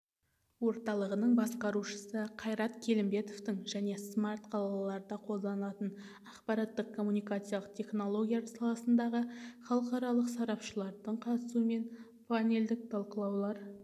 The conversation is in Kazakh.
орталығының басқарушысы қайрат келімбетовтың және смарт-қалаларда қолданылатын ақпараттық-коммуникациялық технологиялар саласындағы халықаралық сарапшылардың қатысуымен панельдік талқылаулар